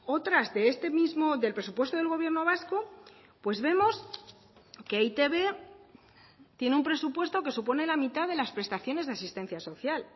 otras de este mismo del presupuesto del gobierno vasco pues vemos que e i te be tiene un presupuesto que supone la mitad de las prestaciones de asistencia social